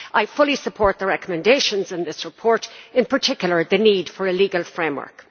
I fully support the recommendations in this report, in particular the need for a legal framework.